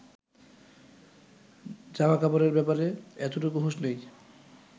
জামাকাপড়ের ব্যাপারে এতটুকু হুঁশ নেই